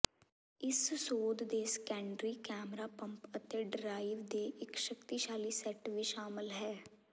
ਇਸ ਸੋਧ ਦੇ ਸੈਕੰਡਰੀ ਕੈਮਰਾ ਪੰਪ ਅਤੇ ਡਰਾਈਵ ਦੇ ਇੱਕ ਸ਼ਕਤੀਸ਼ਾਲੀ ਸੈੱਟ ਵੀ ਸ਼ਾਮਲ ਹੈ